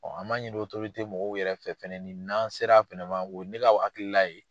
an m'a ɲini mɔgɔw yɛrɛ fɛ fɛnɛ ni n'an sera o ye ne ka hakilila ye.